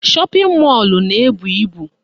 Shọpịn mọlụ na-ebu ibu